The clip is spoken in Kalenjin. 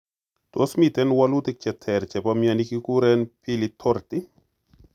Tos miten wolutik che ter chepo mioni kiguren Pili torti?